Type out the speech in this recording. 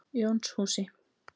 Jónshúsi